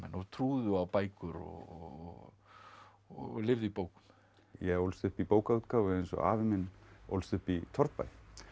og trúðu á bækur og og lifðu í bókum ég ólst upp í bókaútgáfu eins og afi minn ólst upp í torfbæ